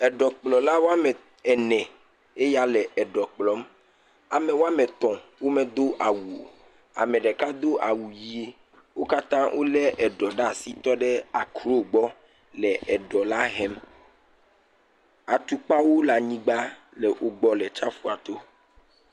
Eɖɔkplɔla wɔme ene eyawo le ɖɔ kplɔm ame wɔme etɔ̃ womedo awu o. Ame ɖeka do awu ʋi. wo katã wo le eɖɔ ɖe asi tɔ ɖe akro gbɔ le eɖɔ la hem. Atukpawo le anyigba le wo gbɔ le atsiaƒua to.